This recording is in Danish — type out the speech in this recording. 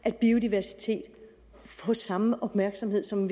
at biodiversiteten får samme opmærksomhed som